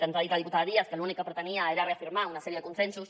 ens ha dit la diputada díaz que l’únic que pretenia era reafirmar una sèrie de consensos